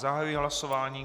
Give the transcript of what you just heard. Zahajuji hlasování.